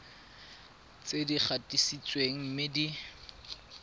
tse di gatisitsweng mme di